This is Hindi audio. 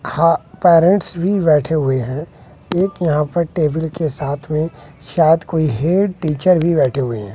हा पैरेंट्स भी बैठे हुए हैं एक यहां पर टेबल के साथ में शायद कोई हेड टीचर भी बैठे हुए हैं।